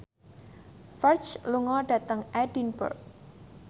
Ferdge lunga dhateng Edinburgh